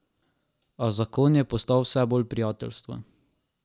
A zakon je postal vse bolj prijateljstvo.